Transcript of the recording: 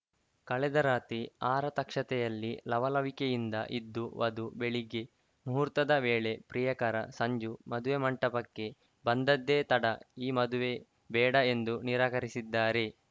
ಕಳೆದ ರಾತ್ರಿ ಆರತಕ್ಷತೆಯಲ್ಲಿ ಲವಲವಿಕೆಯಿಂದ ಇದ್ದ ವಧು ಬೆಳಗ್ಗೆ ಮುಹೂರ್ತದ ವೇಳೆ ಪ್ರಿಯಕರ ಸಂಜು ಮದುವೆ ಮಂಟಪಕ್ಕೆ ಬಂದದ್ದೇ ತಡ ಈ ಮದುವೆ ಬೇಡ ಎಂದು ನಿರಾಕರಿಸಿದ್ದಾರೆ